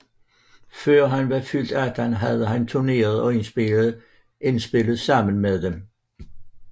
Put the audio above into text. Før han var fyldt 18 havde han turneret og indspillet sammen med dem